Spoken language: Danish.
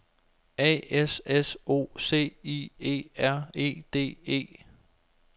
A S S O C I E R E D E